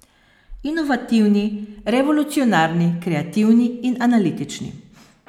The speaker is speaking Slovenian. Inovativni, revolucionarni, kreativni in analitični.